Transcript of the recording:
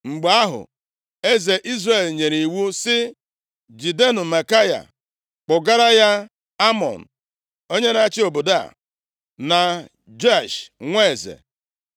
Mgbe ahụ, eze Izrel nyere iwu sị, “Jidenụ Maikaya kpụgara ya Amọn onye na-achị obodo a, na Joash nwa eze